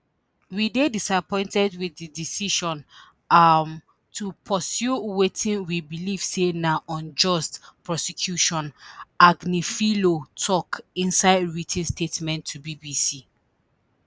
we dey disappointed with di decision um to pursue wetin we believe say na unjust prosecution agnifilo tok inside writ ten statement to bbc